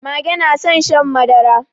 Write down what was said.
Mage na son shan madara.